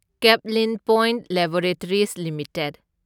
Caplin point laboratories limited